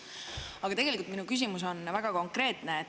Aga tegelikult minu küsimus on väga konkreetne.